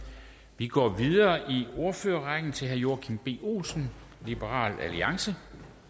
vi går videre i ordførerrækken til herre joachim b olsen liberal alliance